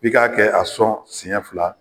I kan kɛ a sɔn siɲɛ fila